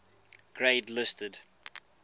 grade listed